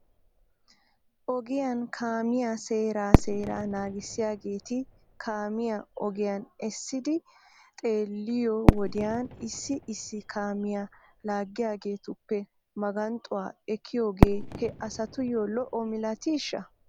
Ogiyan kaamiyaa seeraa seeraa naagissiyaageeti kaamiyaa ogiyan essidi xeeliyoo wodiyan issi issi kaamiyaa laaggiyaageetuppe maganxxuwaa ekkiyoogee he asatuyyo lo'o milatiishsha?